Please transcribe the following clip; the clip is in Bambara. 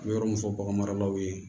A bɛ yɔrɔ mun fɔ bagan maralaw ye